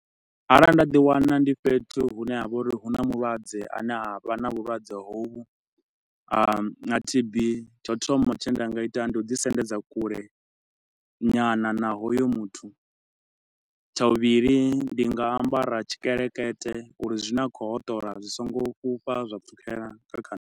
Arali nda ḓi wana ndi fhethu hune ha vha uri hu na mulwadze a ne a vha na vhulwadze hovhu na T_B, tsha u thoma tshine nda nga ita, ndi u ḓi sendedza kule nyana na hoyo muthu. Tsha vhuvhili ndi nga ambara tshikelekete uri zwi ne a khou hoṱola zwi so ngo fhufha zwa pfukhela nga kha nne.